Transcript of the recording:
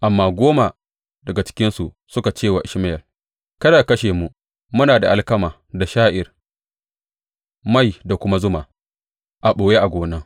Amma goma daga cikinsu suka ce wa Ishmayel, Kada ka kashe mu, muna da alkama da sha’ir, mai da kuma zuma, a ɓoye a gona.